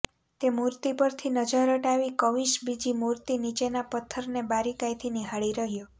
તે મૂર્તિ પરથી નજર હટાવી કવિશ બીજી મૂર્તિ નીચેના પથ્થરને બારીકાઈથી નિહાળી રહ્યો